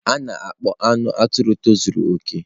A na-akpọ anụ atụrụ tozuru okè.